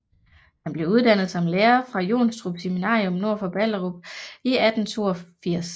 Han blev uddannet som lærer fra Jonstrup Seminarium nord for Ballerup i 1882